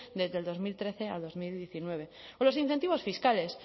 desde el dos mil trece a bi mila hemeretzi o los incentivos fiscales